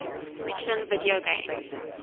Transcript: fiction video games